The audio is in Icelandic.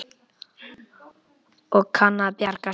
Og kann að bjarga sér.